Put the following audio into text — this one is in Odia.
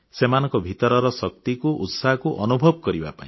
ସେମାନଙ୍କ ଭିତରର ଶକ୍ତିକୁ ଉତ୍ସାହକୁ ଅନୁଭବ କରିବା ପାଇଁ